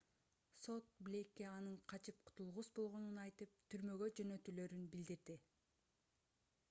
сот блейкке анын качып кутулгус болгонун айтып түрмөгө жөнөтүлөрүн билдирди